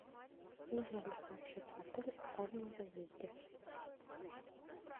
нужно ли сообщать в отель о раннем заезде